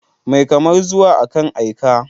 Mai kamar zuwa, akan aika.